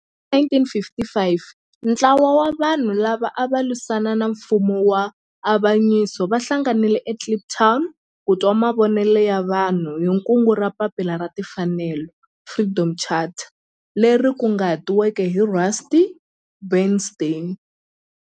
Hi 1955 ntlawa wa vanhu lava ava lwisana na nfumo wa avanyiso va hlanganile eKliptown ku twa mavonelo ya vanhu hi kungu ra Papila ra Tinfanelo, Freedom Charter leri kunguhatiweke hi Rusty Bernstein.